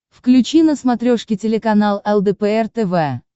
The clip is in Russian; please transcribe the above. включи на смотрешке телеканал лдпр тв